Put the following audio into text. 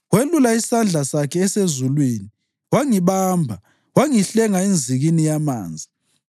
Welula isandla sakho usezulwini wangibamba wangihlenga enzikini yamanzi.